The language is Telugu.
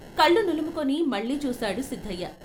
కళ్ళు నులుముకొని మళ్ళీ చూశాడు సిద్ధయ్య.